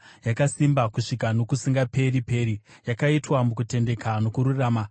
Yakasimba kusvika nokusingaperi-peri, yakaitwa mukutendeka nokururama.